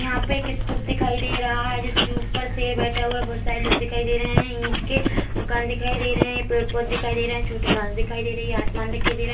यहाँ पे एक स्तूप दिखाई दे रहा है जिसके ऊपर शेर बैठा हुआ है बहोत सारे लोग दिखाई दे रहे है ईंट के मकान दिखाई दे रहे हैं पेड़-पौधे दिखाई दे रहे हैं छोटी घास दिखाई दे रही है आसमान दिखाई दे र --